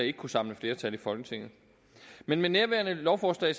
ikke kunne samle flertal i folketinget men med nærværende lovforslag